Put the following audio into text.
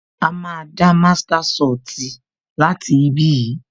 A máa dá master soti láti ibí yìí